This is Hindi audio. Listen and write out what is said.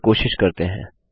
चलिए कोशिश करते हैं